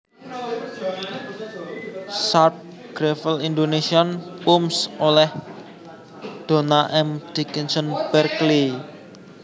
Sharp gravel Indonésian poems oleh Donna M Dickinson Berkeley